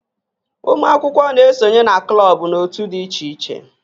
Ụmụ akwụkwọ na-esonye na klọb na òtù dị iche iche